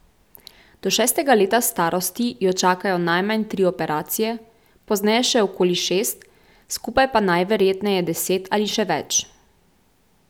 Do šestega leta starosti jo čakajo najmanj tri operacije, pozneje še okoli šest, skupaj pa najverjetneje deset ali še več.